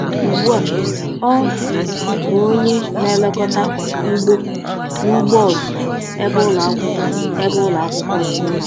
Ugbu a ọ bụ onye na-elekọta ugbo n’ugbo ọzụzụ, ebe ụlọ akwụkwọ ebe ụlọ akwụkwọ dị.